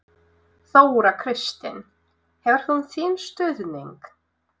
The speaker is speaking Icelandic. Þóra Kristín: Hefur hún þinn stuðning?